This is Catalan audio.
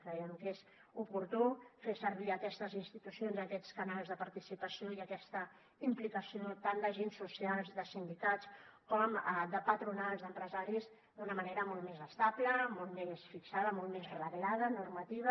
creiem que és oportú fer servir aquestes institucions aquests canals de participació i aquesta implicació tant d’agents socials de sindicats com de patronals d’empresaris d’una manera molt més estable molt més fixada molt més reglada normativa